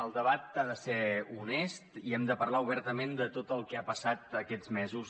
el debat ha de ser honest i hem de parlar obertament de tot el que ha passat aquests mesos